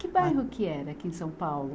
Que bairro que era aqui em São Paulo?